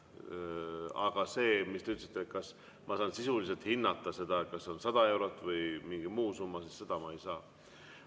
Aga see, mis te ütlesite, et kas ma saan sisuliselt hinnata, kas on 100 eurot või mingi muu summa – seda ma ei saa.